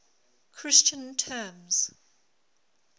christian terms